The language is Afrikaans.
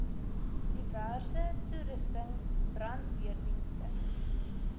diverse toerusting brandweerdienste